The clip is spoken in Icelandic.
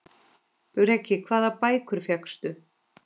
Breki: Hvaða bækur fékkstu?